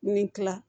Ni kila